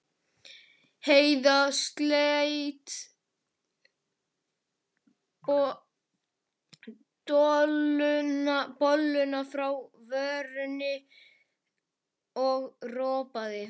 Heiða sleit dolluna frá vörunum og ropaði.